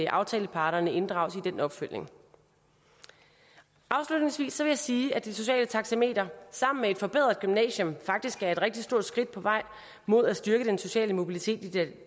aftaleparterne inddrages i den opfølgning afslutningsvis vil jeg sige at det sociale taxameter sammen med et forbedret gymnasium faktisk er et rigtig stort skridt på vej mod at styrke den sociale mobilitet i det